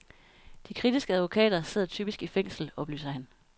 De kritiske advokater sidder typisk i fængsel, oplyser han.